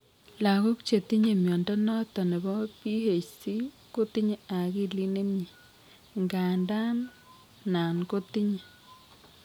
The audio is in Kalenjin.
Lagok chetinye mnyondo noton nebo BHC kotinye akilit nemnyei , indandan nan kotinye